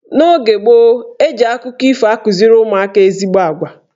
N'oge gboo, eji akụkọ ifo akụziri ụmụaka ezigbo agwa.